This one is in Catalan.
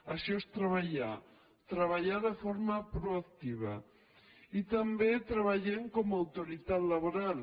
això és treballar treballar de forma proactiva i també treballem com a autoritat laboral